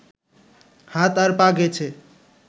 হাত আর পা গেছে